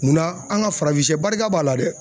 Munna an ka farafinsɛ barika b'a la dɛ.